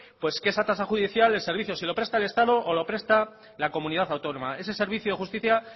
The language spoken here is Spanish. pues que esa tasa judicial si el servicio lo presta el estado o lo presta la comunidad autónoma ese servicio de justicia